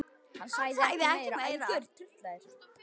Hann sagði ekki meira.